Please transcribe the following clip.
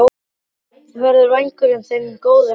Bráðum verður vængurinn þinn góður aftur.